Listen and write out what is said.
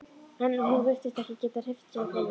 En hún virtist ekki geta hreyft sig á gólfinu.